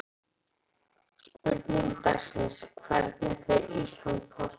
Spurning dagsins er: Hvernig fer Ísland- Portúgal?